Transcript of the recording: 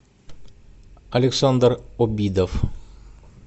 александр обидов